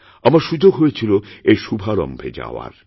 আমার সুযোগ হয়েছিল এর শুভারম্ভে যাওয়ার